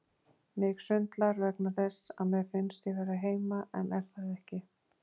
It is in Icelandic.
Mig sundlar vegna þess að mér finnst ég vera heima en er það ekki.